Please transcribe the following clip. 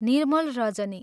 निर्मल रजनी!